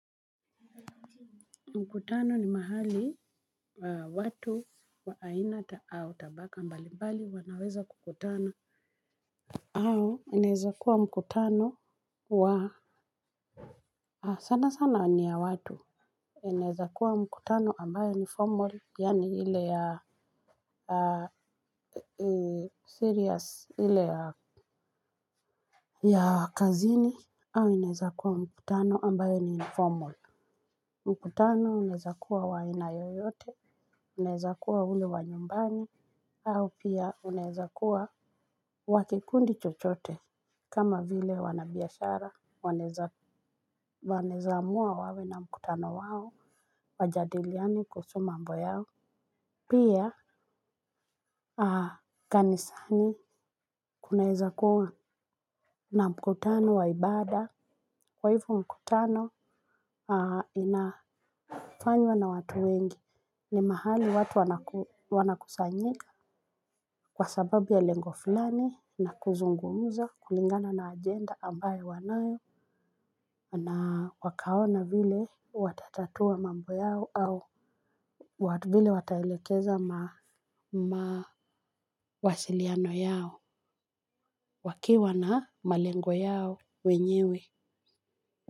Mkutano ni mahali wa watu wa aina au tabaka mbali mbali wanaweza kukutana. Au inaezakuwa mkutano wa sana sana ni ya watu. Inaeza kuwa mkutano ambayo ni formal yaani ile ya serious ile ya ya kazini. Au inaeza kuwa mkutano ambayo ni informal. Mkutano unaeza kuwa wa aina yoyote, unaeza kuwa ule wa nyumbani, au pia unaeza kuwa wa kikundi chochote, kama vile wanabiashara, wanaeza amua wawe na mkutano wao, wajadiliane kuhusu mambo yao, pia kanisani kunaeza kuwa na mkutano wa ibada, kwa hivo mkutano inafanywa na watu wengi. Ni mahali watu wanakusanyika kwa sababu ya lengo fulani na kuzungumza kulingana na ajenda ambayo wanayo na wakaona vile watatatua mambo yao au vile wataelekeza mawasiliano yao wakiwa na malengo yao wenyewe.